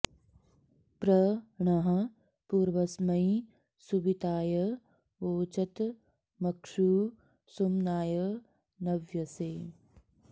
प्र णः॒ पूर्व॑स्मै सुवि॒ताय॑ वोचत म॒क्षू सु॒म्नाय॒ नव्य॑से